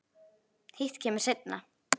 Hitt kemur seinna.